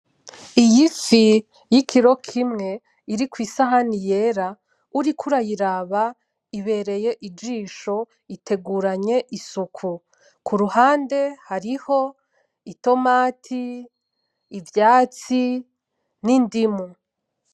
Iyifi yikiro kimwe iri kwisahani yera, uriko uriyiraba ibereye ijisho, iteguranye isuku. Kuruhande hariho itomati ivyatsi , n'indimu.